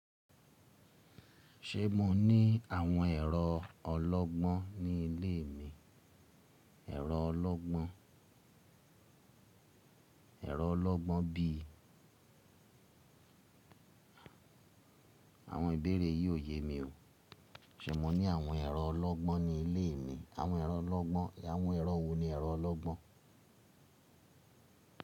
Ṣé mo ní àwọn ẹ̀rọ ọlọ́gbọ́n ní ilé mi? Ẹ̀rọ ọlọ́gbọ́n, ẹ̀rọ ọlọ́gbọ́n bí i àwọn ìbéèrè yìí ò yẹ mi o. Ṣé mo ní àwọn ẹ̀rọ ọlọ́gbọ́n ní ilé mi? Àwọn ẹ̀rọ ọlọ́gbọ́n. Àwọn ẹ̀rọ wọ́n ni ẹ̀rọ ọlọ́gbọ́n?